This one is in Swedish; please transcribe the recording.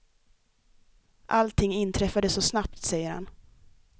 Allting inträffade så snabbt, säger han.